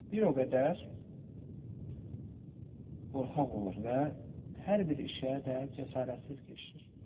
Bir o qədər qorxaq olur və hər bir işə də cəsarətsiz girişir.